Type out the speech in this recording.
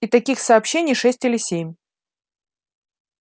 и таких сообщений шесть или семь